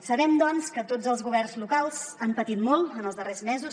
sabem doncs que tots els governs locals han patit molt en els darrers mesos